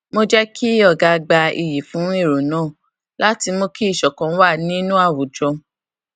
mo jé kí ọga gba iyì fún èrò náà láti mú kí ìṣòkan wà nínú àwùjọ